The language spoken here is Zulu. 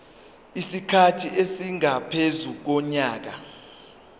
isikhathi esingaphezu konyaka